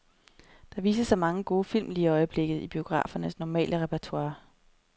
Der vises så mange gode film lige i øjeblikket i biografernes normale repertoire.